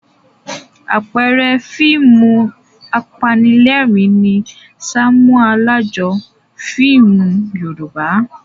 Àpẹẹrẹ fíìmù apanílẹ̀rín ni "Ṣàmúlò Alájọ" fíìmù Yorùbá.